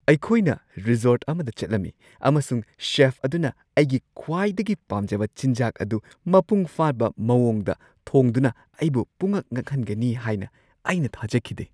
ꯑꯩꯈꯣꯏꯅ ꯔꯤꯖꯣꯔꯠ ꯑꯃꯗ ꯆꯠꯂꯝꯃꯤ ꯑꯃꯁꯨꯡ ꯆꯦꯐ ꯑꯗꯨꯅ ꯑꯩꯒꯤ ꯈ꯭ꯋꯥꯏꯗꯒꯤ ꯄꯥꯝꯖꯕ ꯆꯤꯟꯖꯥꯛ ꯑꯗꯨ ꯃꯄꯨꯡ ꯐꯥꯕ ꯃꯑꯣꯡꯗ ꯊꯣꯡꯗꯨꯅ ꯑꯩꯕꯨ ꯄꯨꯡꯉꯛ-ꯉꯛꯍꯟꯒꯅꯤ ꯍꯥꯏꯅ ꯑꯩꯅ ꯊꯥꯖꯈꯤꯗꯦ꯫